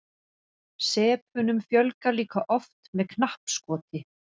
sepunum fjölgar líka oft með knappskoti